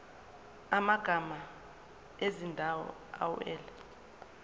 amagama ezindawo awela